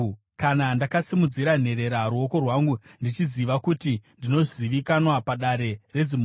kana ndakasimudzira nherera ruoko rwangu ndichiziva kuti ndinozivikanwa padare redzimhosva,